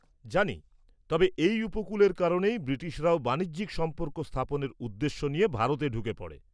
-জানি, তবে এই উপকূলের কারণেই ব্রিটিশরাও বাণিজ্যিক সম্পর্ক স্থাপনের উদ্দেশ্য নিয়ে ভারতে ঢুকে পড়ে।